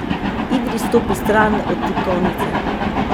Idris stopi stran od tipkovnice.